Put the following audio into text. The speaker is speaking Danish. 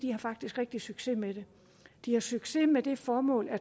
rigtig stor succes med det de har succes med det formål